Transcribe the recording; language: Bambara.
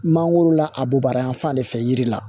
Mangoro la a bubara yan fan de fɛ yiri la